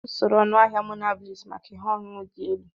Usoro ọnụahịa Monabliss maka ihe ọṅụṅụ dị elu.